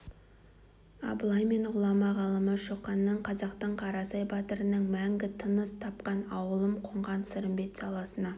абылай мен ғұлама ғалымы шоқанның қазақтың қарасай батырының мәңгі тыныс тапқан ауылым қонған сырымбет саласына